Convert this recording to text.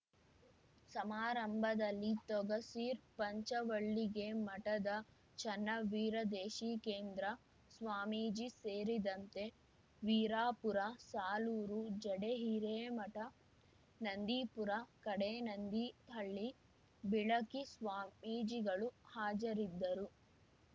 ಸಮಾರಂಭದಲ್ಲಿ ತೊಗಸಿರ್ ಪಂಚವಳ್ಳಿಗೆ ಮಠದ ಚೆನ್ನವೀರದೇಶೀಕೇಂದ್ರ ಸ್ವಾಮೀಜಿ ಸೇರಿದಂತೆ ವೀರಾಪುರ ಸಾಲೂರು ಜಡೆ ಹಿರೇಮಠ ನಂದೀಪುರ ಕಡೇನಂದಿಹಳ್ಳಿ ಬಿಳಕಿ ಸ್ವಾಮೀಜಿಗಳು ಹಾಜರಿದ್ದರು